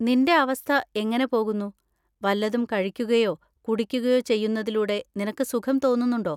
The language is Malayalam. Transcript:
നിന്‍റെ അവസ്ഥ എങ്ങനെ പോകുന്നു? വല്ലതും കഴിക്കുകയോ കുടിക്കുകയോ ചെയ്യുന്നതിലൂടെ നിനക്ക് സുഖം തോന്നുന്നുണ്ടോ?